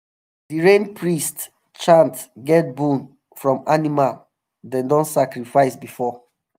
rain priest chain get bone from animal dem don sacrifice before.